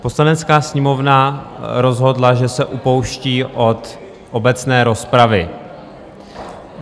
Poslanecká sněmovna rozhodla, že se upouští od obecné rozpravy.